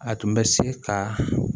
A tun bɛ se ka